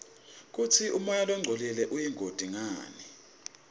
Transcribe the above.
kutsi umoya longcolile uyingoti ngani